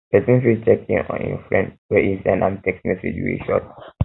persin fit check in on im friend when e send am text message wey short